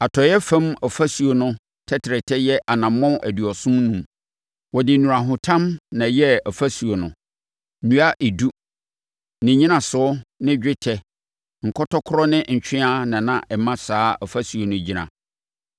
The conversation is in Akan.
Atɔeɛ fam ɔfasuo no tɛtrɛtɛ yɛ anammɔn aduɔson enum. Wɔde nnurahotam na ɛyɛɛ ɔfasuo no. Nnua edu, ne nnyinasoɔ ne dwetɛ nkɔtɔkorɔ ne ntweaa na na ɛma saa ɔfasuo no gyina.